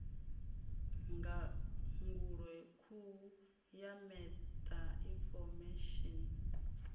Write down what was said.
ndangulo hukhu ya meta infomesheni